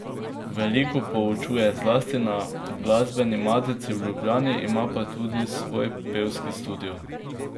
Veliko poučuje, zlasti na Glasbeni matici v Ljubljani, ima pa tudi svoj pevski studio.